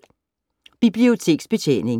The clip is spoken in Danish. Biblioteksbetjening